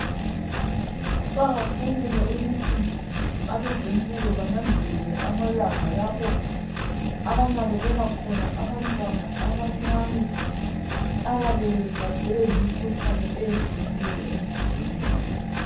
Kuqakathekile ukuthi abezempilo bananzelele amalanga lapho abanakekela khona abantwana abancane ababe behlaselwe yimikhuhlane eyehlukeneyo emzimbeni yabo